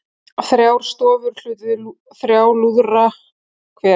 Þrjár stofur hlutu þrjá lúðra hver